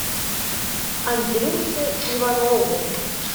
андрюше иванову